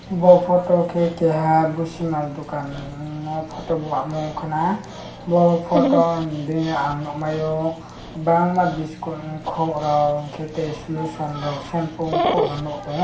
bo photo ke keha bushimaal dogakan amm o photo lama o wngkha na bo photo de ang nogmayo bangma biscuit ko rog tei solution rok sempu angko rok nog tango.